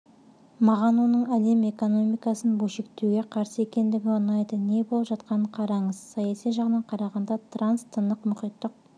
маған оның әлем экономикасын бөлшектеуге қарсы екендігі ұнайды не болып жатқанын қараңыз саяси жағынан қарағанда транстынықмұхиттық